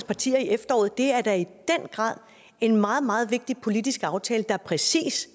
partier i efteråret det er da i den grad en meget meget vigtig politisk aftale der præcist